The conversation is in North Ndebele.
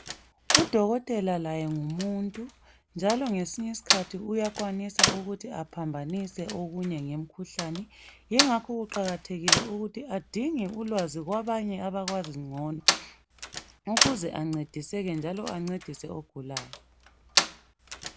Udokotela laye ngumuntu njalo ngesinye isikhathi uyakwanisa ukuthi laye aphambanise okunye ngemkhuhlane yikho kuqakathekile ukuthi labo bafunde ulwazi kwabanye abakwazi ngcono ukuze angcediseke laye ancedise abagulayo